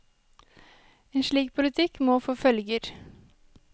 En slik politikk må få følger.